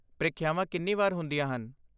ਪ੍ਰੀਖਿਆਵਾਂ ਕਿੰਨੀ ਵਾਰ ਹੁੰਦੀਆਂ ਹਨ?